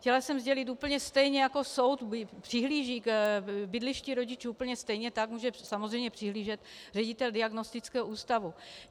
Chtěla jsem sdělit, úplně stejně jako soud přihlíží k bydlišti rodičů, úplně stejně tak může samozřejmě přihlížet ředitel diagnostického ústavu.